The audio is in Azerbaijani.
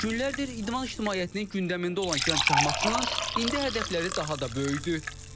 Günlərdir idman ictimaiyyətinin gündəmində olan gənc şahmatçının indi hədəfləri daha da böyükdür.